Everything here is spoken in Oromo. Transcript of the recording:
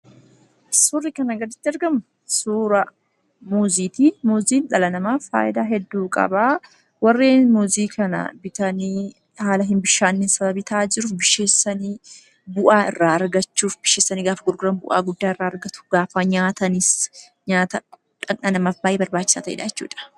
Suurri kanaa gaditti argamu suuraa muuziiti. Muuziin dhala namaaf faayidaa hedduu qaba. Warreen muuzii kana bitanii, haala hin bishaanne sababii ta'aa jiruuf bisheessanii, bu'aa irraa argachuuf bisheessanii gaafa gurguran bu'aa guddaa irraa argatu. Gaafa nyaatanis nyaata dhanna namaaf baay'ee barbaachisaa ta'eedha jechuudha.